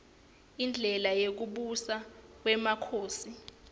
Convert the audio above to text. indlela yekubusa kwmakhosi